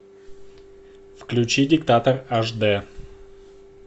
включи диктатор аш дэ